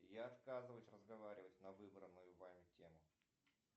я отказываюсь разговаривать на выбранную вами тему